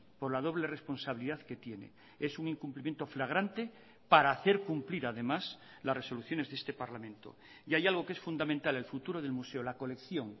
por la doble responsabilidad que tiene es un incumplimiento flagrante para hacer cumplir además las resoluciones de este parlamento y hay algo que es fundamental el futuro del museo la colección